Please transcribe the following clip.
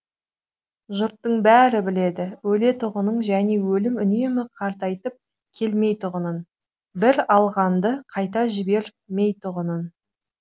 жұрттың бәрі біледі өлетұғынын және өлім үнемі қартайтып келмейтұғынын бір алғанды қайта жібер мейтұғынын